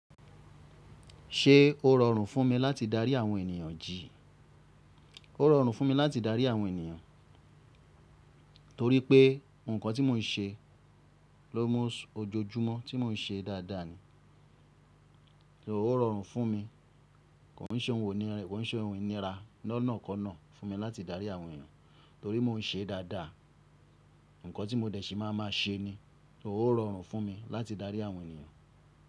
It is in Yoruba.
Ṣé ó rọrùn fún mi láti darí àwọn ènìyàn jí? Ó rọrùn fún mi láti darí àwọn ènìyàn, torí pé ǹkan tí mò ń ṣe ló mọ ojoojúmọ́ tí mò ń ṣe dáadáa ni. Ó rọrùn fún mi, kò ń ṣe ohun inira lọ́nàkọ́ọ̀nà fún mi láti darí àwọn ènìyàn torí mò ń ṣe dáadáa. Ǹǹkan tí mo dẹ̀ṣí máa a máa ṣe ni, ó rọrùn fún mi láti darí àwọn ènìyàn.